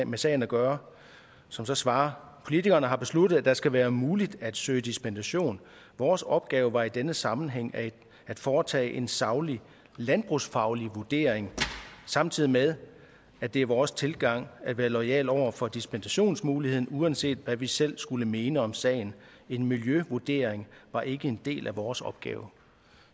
med sagen at gøre som så svarer politikerne har besluttet at det skal være muligt at søge dispensation vores opgave var i denne sammenhæng at foretage en saglig landbrugsfaglig vurdering samtidig med at det er vores tilgang at være loyale overfor dispensationsmuligheden uanset hvad vi selv skulle mene om sagen en miljøvurdering var ikke en del af vores opgave